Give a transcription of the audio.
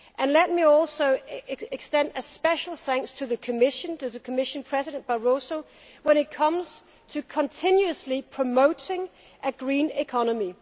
Let me also extend special thanks to the Commission, to Commission President Barroso, when it comes to continuously promoting a green economy.